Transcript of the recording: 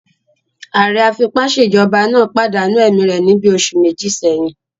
Ààrẹ afipásèjọba náà pàdánù ẹ̀mí rẹ̀ níbi oṣù méjì sẹ́yìn